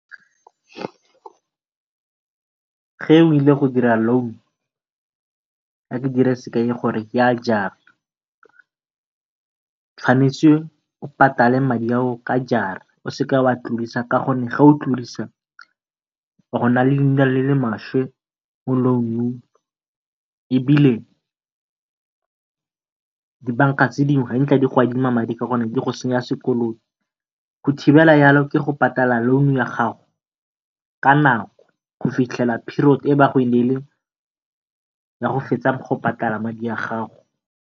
o ile go dira loan, a ke dire sekai gore . Tshwanetse o patale madi ao ka o seke wa tlodisa ka gore nna le leina le le maswe mo loan-ung e bile dibanka tse dingwe di ka di go adima madi ka gonne go thibela ke go patala loan-u ya gago ka nako go fitlhela period e ba go neileng ya go fetsa go patala madi a gago.